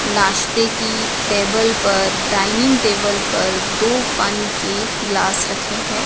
नाश्ते की टेबल पर डाइनिंग टेबल पर दो पानी के ग्लास रखे है।